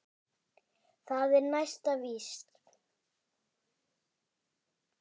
Það er næsta víst.